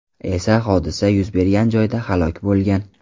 esa hodisa yuz bergan joyda halok bo‘lgan.